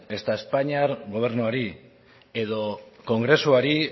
ezta espainiar gobernuari edo kongresuari